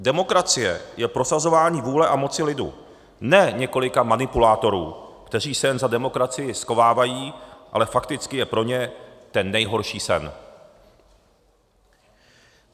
Demokracie je prosazování vůle a moci lidu, ne několika manipulátorů, kteří se jen za demokracii schovávají, ale fakticky je pro ně ten nejhorší sen.